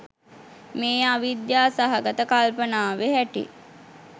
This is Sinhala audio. මේ අවිද්‍යා සහගත කල්පනාවෙ හැටි.